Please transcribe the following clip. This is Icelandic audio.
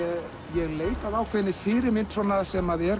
ég leita að ákveðinni fyrirmynd sem er